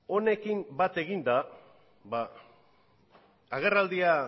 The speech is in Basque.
honekin bat eginda agerraldia